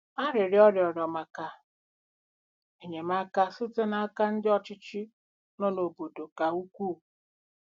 * Arịrịọ ọ rịọrọ maka enyemaka site n’aka ndị ọchịchị nọ n’obodo ka ukwuu.